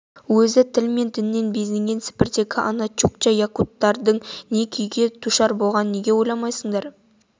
өзі тіл мен діннен безінген сібірдегі ана чукча якуттердің не күйге душар болғанын неге ойламайсыңдар